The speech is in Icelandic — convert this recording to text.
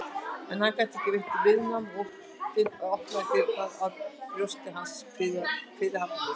En hann gat ekki veitt viðnám og óttinn opnaði dyrnar að brjósti hans fyrirhafnarlaust.